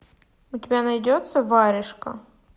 у тебя найдется варежка